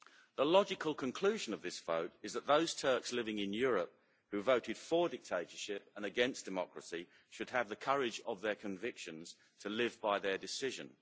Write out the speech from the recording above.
The logical conclusion of this vote is that those Turks living in Europe who voted for dictatorship and against democracy should have the courage of their convictions to live by their decision.